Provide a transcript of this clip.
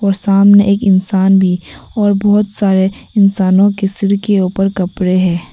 और सामने एक इंसान भी और बहोत सारे इंसानों के सिर के ऊपर कपड़े हैं।